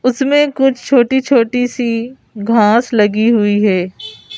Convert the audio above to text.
उसमें कुछ छोटी-छोटी सी घास लगी हुई है।